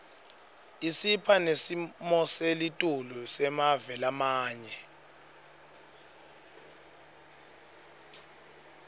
isipha nesimoselitulu semave lamanye